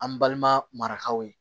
An balima marakaw ye